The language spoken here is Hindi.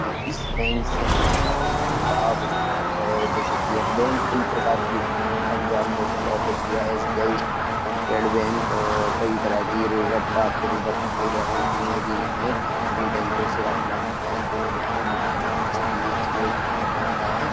तो इस बैंक से हमें काफी लाभ होता है जैसे कि ये बैंक की प्रकार की होती हैं। Punjab national of India state bank और की तरह कि रिजर्व भारतीय रिजर्व बैंक भी होती हैं जो कि हमें इन बैंकों से काफी लाभ मिलता हैं जो कि हमें ब्याज भी मिलता है। हमारा पैसा भी एक जगह इकट्ठा बना रहता है।